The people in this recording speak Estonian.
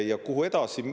Ja kuhu edasi?